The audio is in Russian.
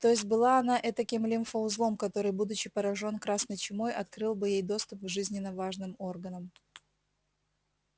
то есть была она этаким лимфоузлом который будучи поражён красной чумой открыл бы ей доступ к жизненно важным органам